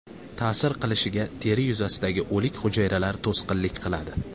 Ta’sir qilishiga teri yuzasidagi o‘lik hujayralar to‘sqinlik qiladi.